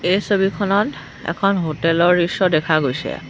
এই ছবিখনত এখন হোটেল ৰ দৃশ্য দেখা গৈছে।